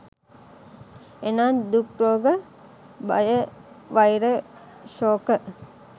එනම් දුක්, රෝග භය, වෛර සෝක